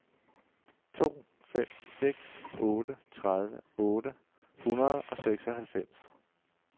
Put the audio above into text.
to fem seks otte tredive otte hundrede og seksoghalvfems